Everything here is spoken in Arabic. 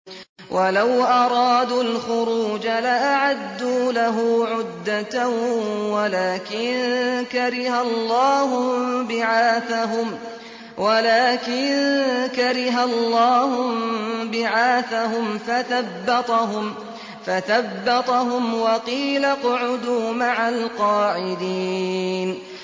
۞ وَلَوْ أَرَادُوا الْخُرُوجَ لَأَعَدُّوا لَهُ عُدَّةً وَلَٰكِن كَرِهَ اللَّهُ انبِعَاثَهُمْ فَثَبَّطَهُمْ وَقِيلَ اقْعُدُوا مَعَ الْقَاعِدِينَ